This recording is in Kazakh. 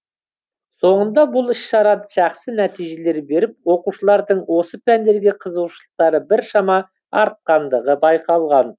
соңында бұл іс шара жақсы нәтижелер беріп оқушылардың осы пәндерге қызығушылықтары біршама артқандығы байқалған